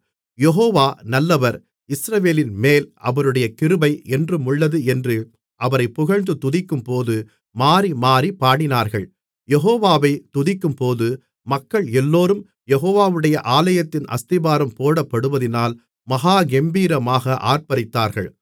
யெகோவா நல்லவர் இஸ்ரவேலின்மேல் அவருடைய கிருபை என்றுமுள்ளது என்று அவரைப் புகழ்ந்து துதிக்கும்போது மாறிமாறிப் பாடினார்கள் யெகோவாவை துதிக்கும்போது மக்கள் எல்லோரும் யெகோவாவுடைய ஆலயத்தின் அஸ்திபாரம் போடப்படுவதினால் மகா கெம்பீரமாக ஆர்ப்பரித்தார்கள்